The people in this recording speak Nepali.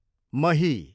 मही